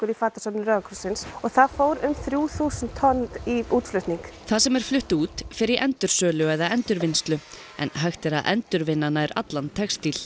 fatasöfnun rauða krossins og það fóru um þrjú þúsund tonn í útflutning það sem er flutt út fer í endursölu eða endurvinnslu en hægt er að endurvinna nær allan textíl